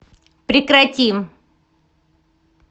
прекрати